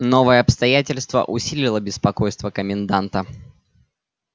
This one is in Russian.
новое обстоятельство усилило беспокойство коменданта